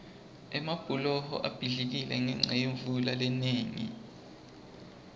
emabhuloho abhidlikile ngenca yemvula lenengi